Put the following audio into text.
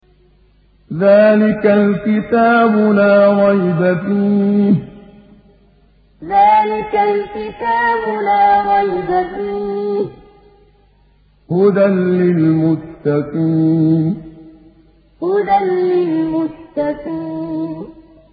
ذَٰلِكَ الْكِتَابُ لَا رَيْبَ ۛ فِيهِ ۛ هُدًى لِّلْمُتَّقِينَ ذَٰلِكَ الْكِتَابُ لَا رَيْبَ ۛ فِيهِ ۛ هُدًى لِّلْمُتَّقِينَ